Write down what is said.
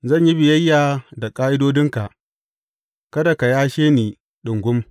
Zan yi biyayya da ƙa’idodinka; kada ka yashe ni ɗungum.